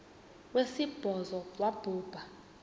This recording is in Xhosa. wesibhozo wabhu bha